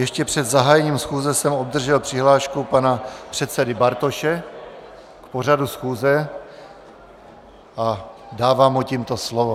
Ještě před zahájením schůze jsem obdržel přihlášku pana předsedy Bartoše k pořadu schůze a dávám mu tímto slovo.